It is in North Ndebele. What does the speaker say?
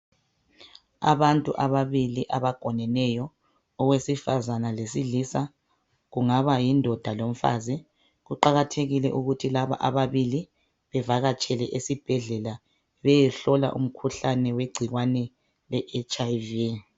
Abantu amabili abagoneneyo owesifazana lowesilisa, kungaba yindoda lomfazi. Kuqakathekile ukuthi lababili bevakatshele esibhedlela beyehlola umkhuhlane wegcikwane le HIV.